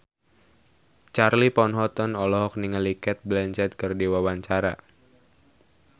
Charly Van Houten olohok ningali Cate Blanchett keur diwawancara